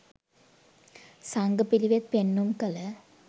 සංඝ පිළිවෙත් පෙන්නුම් කළ